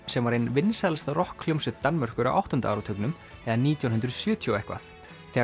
sem var ein vinsælasta rokkhljómsveit Danmerkur á áttunda áratugnum eða nítján hundruð sjötíu og eitthvað þegar